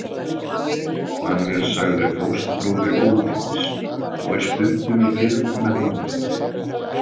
Hann er sagður fóstbróðir Óðins og er stundum í fylgd með honum.